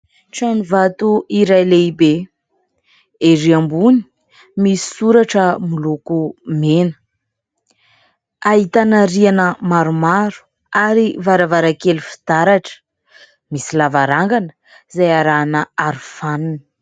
Trano vato iray lehibe : erỳ ambony misy soratra miloko mena, ahitana rihana maromaro ary varavarankely fitaratra, misy lavarangana izay arahana arofanina.